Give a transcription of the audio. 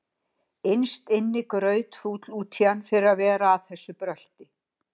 Innst inni grautfúll út í hann fyrir að vera að þessu brölti.